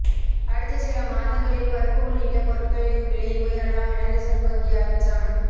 அடுத்த சில மாதங்களில் பருப்பு உள்ளிட்ட பொருட்களின் விலை உயரலாம் என ரிசர்வ் வங்கி அச்சம்